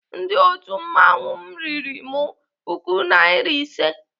Ndị otu mmanwụ m riri m puku nari ise.